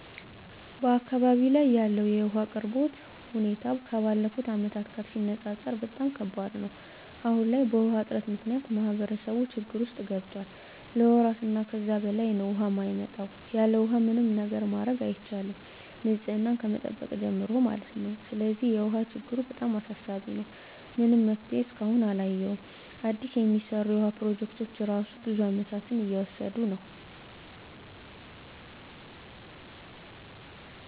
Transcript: አካባቢው ላይ ያለው የውሃ አቅርቦት ሁኔታ ከባለፉት አመታት ጋር ሲነፃፀር በጣም ከባድ ነው። አሁን ላይ በውሃ እጥረት ምክንያት ማህበረሰቡ ችግር ውስጥ ገብቷል ለወራት እና ከዛ በላይ ነው ውሃ የማይመጣው። ያለውሃ ምንም ነገር ማድረግ አይቻልም ንፅህናን ከመጠበቅ ጀምሮ ማለት ነው። ስለዚህ የውሃ ችግሩ በጣም አሳሳቢ ነው። ምንም መፍትሄ እስካሁን አላየሁም አዲስ የሚሰሩ የውሃ ፕሮጀክቶች እራሱ ብዙ አመታትን እየወሰዱ ነው።